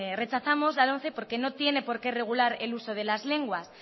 rechazamos la lomce porque no tiene porqué regular el uso de las lenguas